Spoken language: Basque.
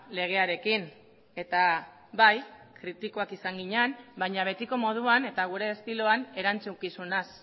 legearekin eta bai kritikoak izan ginen baina betiko moduan eta gure estiloan erantzukizunaz